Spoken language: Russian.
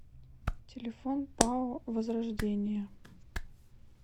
телефон пао возрождение